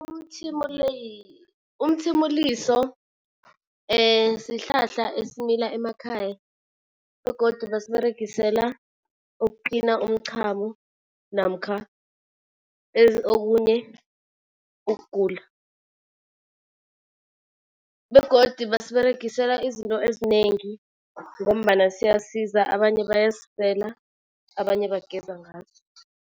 Umthimuliso sihlahla esimila emakhaya begodu basiberegisela ukutlina umchamo namkha okunye ukugula. Begodu basiberegisela izinto ezinengi ngombana siyasiza abanye bayasisela, abanye bageza ngaso.